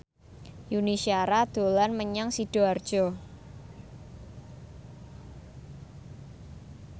Yuni Shara dolan menyang Sidoarjo